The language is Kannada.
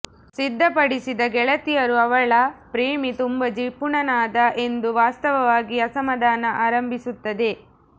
ಸಿದ್ಧಪಡಿಸಿದ ಗೆಳತಿಯರು ಅವಳ ಪ್ರೇಮಿ ತುಂಬಾ ಜಿಪುಣನಾದ ಎಂದು ವಾಸ್ತವವಾಗಿ ಅಸಮಾಧಾನ ಆರಂಭಿಸುತ್ತದೆ